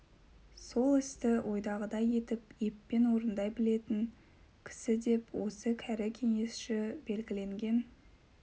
сол істі ойдағыдай етіп еппен орындай білетн кісі деп осы кәрі кеңесші белгіленген